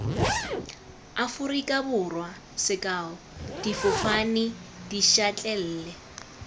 aforika borwa sekao difofane dišatlelle